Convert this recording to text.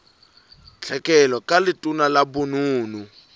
tlhekelo ka letona la bonono